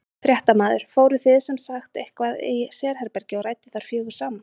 Fréttamaður: Fóruð þið sem sagt inn í eitthvað sérherbergi og rædduð þar fjögur saman?